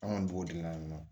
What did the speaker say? An kɔni b'o de la yan nɔ